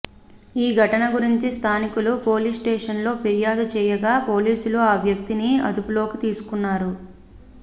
ఈ ఘటన గురించి స్థానికులు పోలీస్ స్టేషన్ లో ఫిర్యాదు చేయగా పోలీసులు ఆ వ్యక్తిని అదుపులోకి తీసుకున్నారు